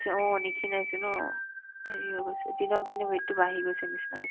অ, মানে ক্ষীণাইছে ন সেই অৱশ্যে দিনক দিনে weight তো বাঢ়ি গৈছেৰ নিচনা হৈছে